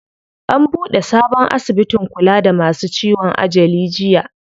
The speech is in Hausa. An buɗe sabon asibitin kula da masu ciwon ajali jiya.